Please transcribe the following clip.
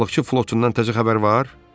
Balıqçı flotundan təzə xəbər var?